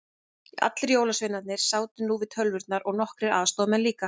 Allir jólasveinarnir sátu nú við tölvurnar og nokkrir aðstoðamenn líka.